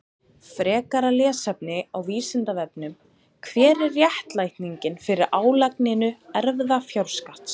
Frekara lesefni á Vísindavefnum: Hver er réttlætingin fyrir álagningu erfðafjárskatts?